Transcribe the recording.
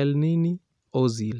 Elneny, Ozil